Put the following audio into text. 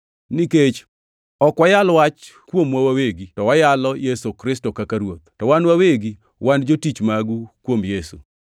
Nikech ok wayal wach kuomwa wawegi, to wayalo Yesu Kristo kaka Ruoth, to wan wawegi wan jotich magu kuom Yesu.